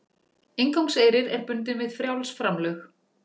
Inngangseyrir er bundinn við frjáls framlög